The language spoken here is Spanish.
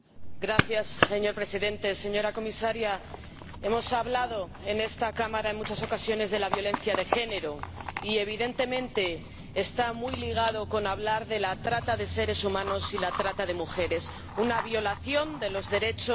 Señor Presidente, señora Comisaria, hemos hablado en esta Cámara en muchas ocasiones de la violencia de género, y evidentemente está muy ligada a la trata de seres humanos y la trata de mujeres una violación de los derechos humanos